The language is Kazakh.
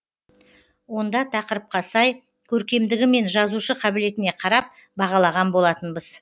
онда тақырыпқа сай көркемдігі мен жазушы қабілетіне қарап бағалаған болатынбыз